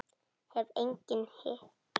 Hef engan hitt og.